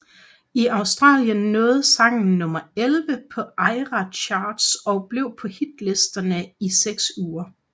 I Australien nåede sangen nummer elleve på ARIA Charts og blev på hitlisterne i seks uger